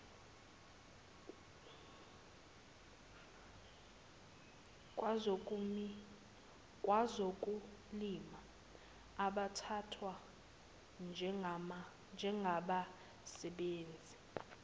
kwezokulima abathathwa njengabasebenzi